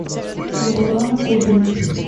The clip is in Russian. валерона губина